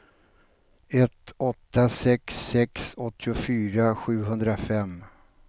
ett åtta sex sex åttiofyra sjuhundrafem